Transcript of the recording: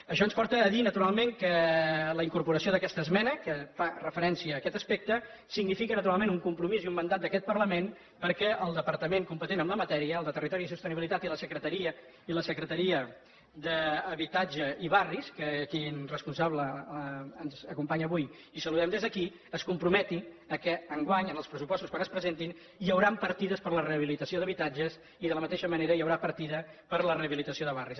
això ens porta a dir naturalment que la incorporació d’aquesta esmena que fa referència a aquest aspecte significa naturalment un compromís i un mandat d’aquest parlament perquè el departament competent en la matèria el de territori i sostenibilitat i la secretaria d’habitatge i barris el responsable de la qual ens acompanya avui i al qual saludem des d’aquí es comprometin que enguany en els pressupostos quan es presentin hi hauran partides per a la rehabilitació d’habitatges i de la mateixa manera hi haurà partida per a la rehabilitació de barris